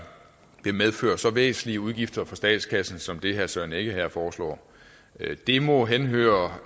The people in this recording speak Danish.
vil medføre så væsentlige udgifter for statskassen som det herre søren egge rasmussen her foreslår det må høre